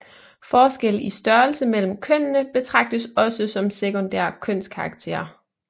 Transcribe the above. Forskelle i størrelse mellem kønnene betragtes også som sekundære kønskarakterer